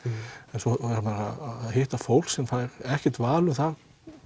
en svo að hitta fólk sem fær ekkert val um það